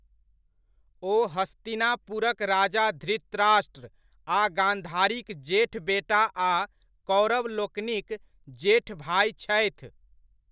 ओ हस्तिनापुरक राजा धृतराष्ट्र आ गान्धारीक जेठ बेटा आ कौरवलोकनिक जेठ भाइ छथि।